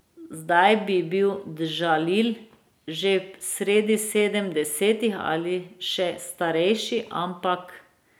Zdaj bi bil Džalil že sredi sedemdesetih ali še starejši, ampak ...